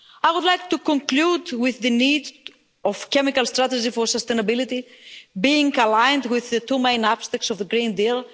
I would like to conclude with the need for the chemicals strategy for sustainability to be aligned with the two main aspects of the Green Deal.